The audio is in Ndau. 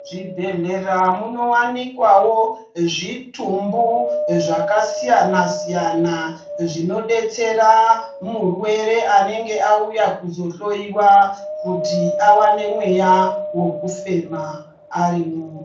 Muzvibhedhlera muno wanikwawo zvitumbu zvakasiyana siyana zvinodetsera murwere anenge auya kuzo hloyiwa kuti awane mweya wekufema arimwo.